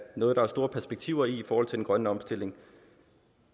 noget der er store perspektiver i i forhold til den grønne omstilling